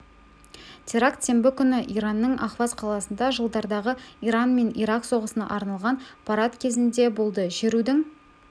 теракт сенбі күні иранның ахваз қаласында жылдардағы иран мен ирак соғысына арналған парад кезінде болды шерудің